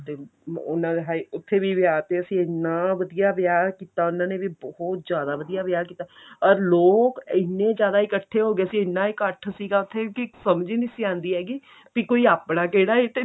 ਤੇ ਉਹਨਾ ਨੇ ਉੱਥੇ ਵੀ ਵਿਆਹ ਤੇ ਅਸੀਂ ਇੰਨਾ ਵਧੀਆ ਵਿਆਹ ਕੀਤਾ ਉਹਨਾ ਨੇ ਬਹੁਤ ਜਿਆਦਾ ਵਧੀਆ ਵਿਆਹ ਕੀਤਾ ਅਰ ਲੋਕ ਇੰਨੇ ਜਿਆਦਾ ਇੱਕਠੇ ਹੋਗੇ ਸੀ ਇੰਨਾ ਇੱਕਠ ਸੀਗਾ ਉੱਥੇ ਕੀ ਸਮਝ ਹੀ ਨਹੀ ਆਉਂਦੀ ਵੀ ਕੋਈ ਆਪਣਾ ਕਿਹੜਾ ਏ ਤੇ